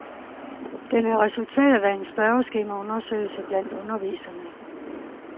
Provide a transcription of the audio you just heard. Den er resultatet af en spørgeskemaundersøgelse blandt underviserne.